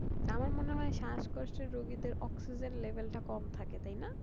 আমার মনে হয় শাসকষ্ট রুগীদের oxygen level টা কম থাকে তাই না